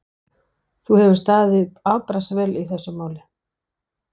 Þú hefur staðið þig afbragðsvel í þessu máli.